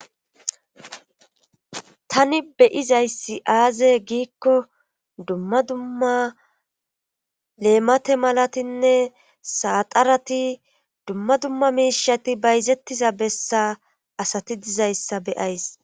tani beyizayssi aaze giikko dumma dumma leemate malatinne saaxarati dumma dumma miishati bayzettiza bessa asati dizayssa beyays